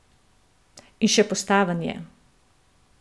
In še postaven je.